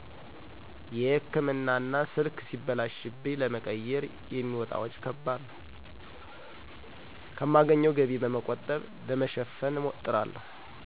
የህክምና እና ስልክ ሲበላሺብኝ ለመቀየር የሚወጣ ከባድ ወጭ ነው። ከማገኝው ገቢ በመቆጠብ ለማሸነፍ እጥራለው።